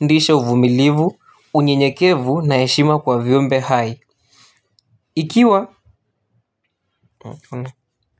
Ndiisha uvumilivu. Unyenyekevu na eshima kwa vyombe hai. Ikiwa.